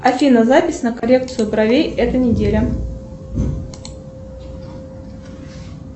афина запись на коррекцию бровей эта неделя